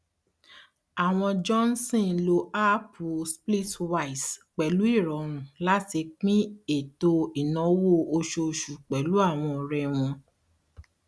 àwọn johnson lo háàpù splitwise pẹlú ìrọrùn láti pín ètò ìnáwó oṣooṣù pẹlú àwọn ọrẹ wọn